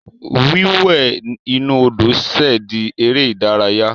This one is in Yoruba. Wíwẹ̀ inú Odò ṣẹ̀ di eré ìdárayá.